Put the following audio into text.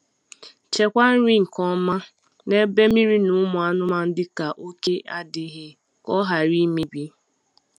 Chekwaa nri nke ọma n'ebe mmiri na ụmụ anụmanụ dịka oke adịghị, ka ọ ghara imebi.